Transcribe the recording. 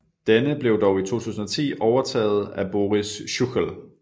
Denne blev dog i 2010 overtaget af Boris Schuchel